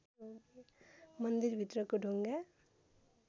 मन्दिरभित्रको ढुङ्गा